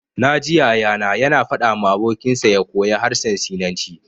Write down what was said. Na ji Yaya na ya na faɗa ma abokin sa ya koya harshen sinanci